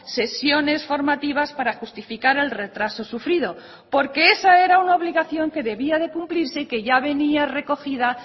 sesiones formativas para justificar el retraso sufrido porque esa era una obligación que debía de cumplirse que ya venía recogida